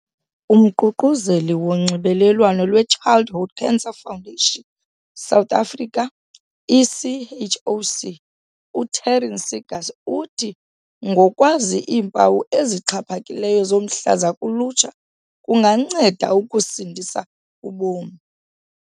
UMququzeleli woNxibelelwano lweChildhood Cancer Foundation South Africa, i-CHOC, u-Taryn Seegers uthi ngokwazi iimpawu ezixhaphakileyo zomhlaza kulutsha, kunganceda ukusindisa ubomi.